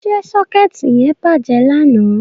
Ṣé sọ́kẹ́ẹ̀tì yẹn bàjẹ́ lánàá.?